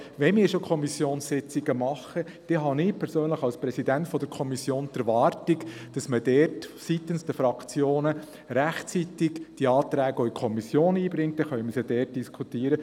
Wenn wir schon Kommissionssitzungen abhalten, habe ich persönlich als Präsident der Kommission die Erwartung, dass man seitens der Fraktionen die Anträge rechtzeitig in der Kommission einbringt, dann können wir diese dort diskutieren.